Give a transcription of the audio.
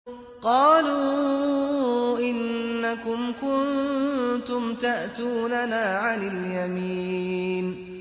قَالُوا إِنَّكُمْ كُنتُمْ تَأْتُونَنَا عَنِ الْيَمِينِ